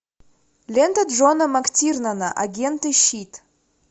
лента джона мактирнана агенты щит